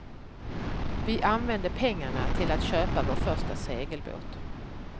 Vi använde pengarna till att köpa vår första segelbåt.